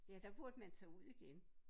Ja der burde man tage ud igen